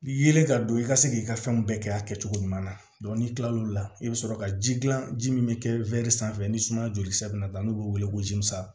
Yeelen ka don i ka se k'i ka fɛnw bɛɛ kɛ a kɛcogo ɲuman na n'i kilal'o la i bɛ sɔrɔ ka ji dilan ji min bɛ kɛ sanfɛ ni suma joli sira nana ta n'u bɛ wele ko jimisa